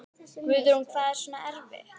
Guðrún: Hvað er svona erfitt?